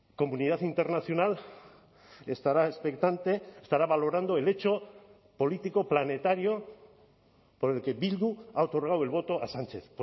comunidad internacional estará expectante estará valorando el hecho político planetario por el que bildu ha otorgado el voto a sánchez